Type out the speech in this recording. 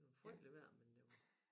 Det var frygtelig vejr men det var